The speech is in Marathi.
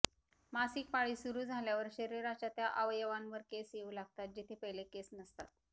मासिक पाळी सुरु झाल्यावर शरीराच्या त्या अवयवांवर केस येऊ लागतात जेथे पहिले केस नसतात